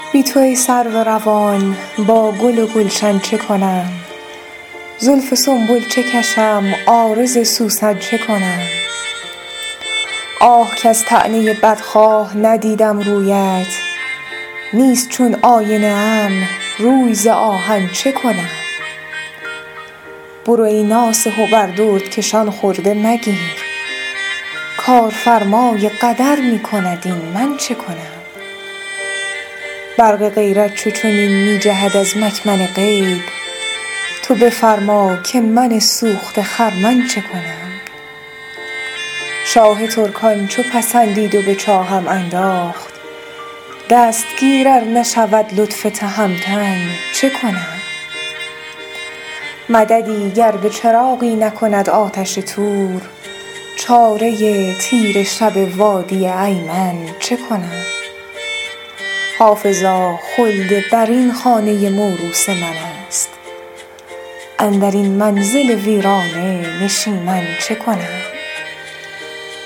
بی تو ای سرو روان با گل و گلشن چه کنم زلف سنبل چه کشم عارض سوسن چه کنم آه کز طعنه بدخواه ندیدم رویت نیست چون آینه ام روی ز آهن چه کنم برو ای ناصح و بر دردکشان خرده مگیر کارفرمای قدر می کند این من چه کنم برق غیرت چو چنین می جهد از مکمن غیب تو بفرما که من سوخته خرمن چه کنم شاه ترکان چو پسندید و به چاهم انداخت دستگیر ار نشود لطف تهمتن چه کنم مددی گر به چراغی نکند آتش طور چاره تیره شب وادی ایمن چه کنم حافظا خلدبرین خانه موروث من است اندر این منزل ویرانه نشیمن چه کنم